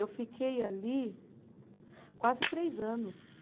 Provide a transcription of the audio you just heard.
Eu fiquei ali quase três anos.